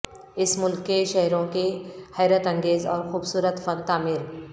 اس ملک کے شہروں کے حیرت انگیز اور خوبصورت فن تعمیر